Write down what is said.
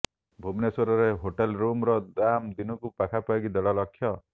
ଭୁବନେଶ୍ୱରରେ ହୋଟେଲ ରୁମର ଦାମ ଦିନକୁ ପାଖାପାଖି ଦେଢ ଲକ୍ଷ